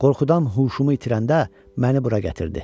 Qorxudan huşumu itirəndə məni bura gətirdi.